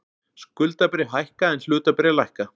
Skuldabréf hækka en hlutabréf lækka